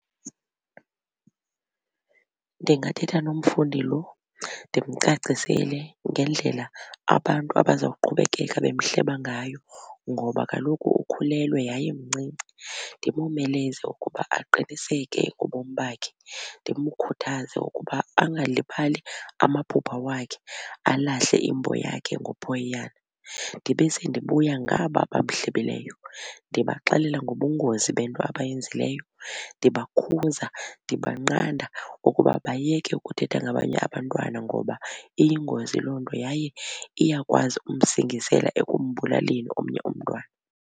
Ndingathetha nomfundi loo ndimcacisele ngendlela abantu abaza kuqhubekeka bemhleba ngayo ngoba kaloku ukhulelwe yaye mncinci. Ndimomeleze ukuba aqiniseke ngobomi bakhe, ndimkhuthaze ukuba angalibali amaphupha wakhe alahle iMbo yakhe ngophoyiyana. Ndibe sendibuya ngaba bamhlebileyo ndibaxelela ngobungozi bento abayenzileyo ndibakhuza ndibanqanda ukuba bayeke ukuthetha ngabanye abantwana ngoba iyingozi loo nto yaye iyakwazi ukumsingisela ekumbulaleni omnye umntwana.